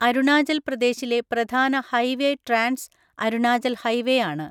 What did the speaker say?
അരുണാചൽ പ്രദേശിലെ പ്രധാന highway trans Arunachal highway ആണ്.